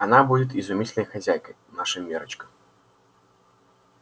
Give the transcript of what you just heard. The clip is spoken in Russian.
она будет изумительной хозяйкой наша миррочка